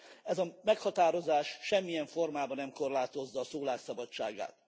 Ez a meghatározás semmilyen formában nem korlátozza a szólás szabadságát.